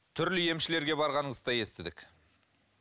түрлі емшілерге барғаныңызды да естідік